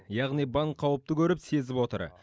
яғни банк қауіпті көріп сезіп отыр